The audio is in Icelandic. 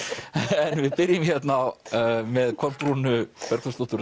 en við byrjum hérna með Kolbrúnu Bergþórsdóttur og